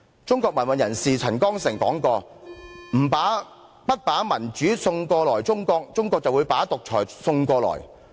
中國民運人士陳光誠曾說過："不把民主送過去中國，中國會把獨裁送過來。